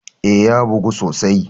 Eh, ya bugu sosai.